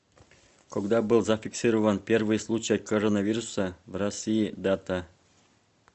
когда был зафиксирован первый случай коронавируса в россии дата